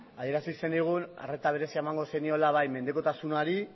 adierazi zenigun arreta berezia emango zeniola mendekotasunari